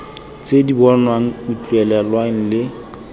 tse di bonwang utlwelelwang le